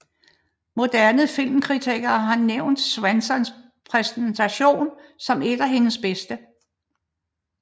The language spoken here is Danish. Moderne filmkritikere har nævnt Swansons præstation som et af hendes bedste